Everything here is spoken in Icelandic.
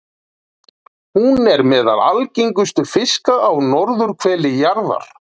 Hún er meðal algengustu fiska á norðurhveli jarðar.